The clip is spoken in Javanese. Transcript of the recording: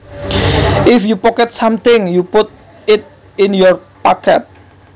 If you pocket something you put it in your pocket